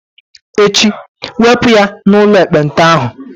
Echi, wepụ ya n'ụlọ ekpenta ahụ!